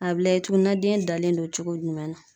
A bɛ lajɛ tuguni na den dalen don cogo jumɛn na